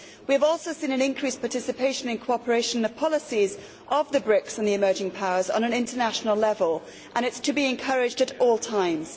We have also seen an increased participation in cooperation in the policies of the BRICS and the emerging powers on an international level, and this is to be encouraged at all times.